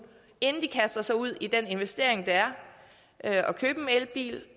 inden de kaster sig ud i den investering det er at købe en elbil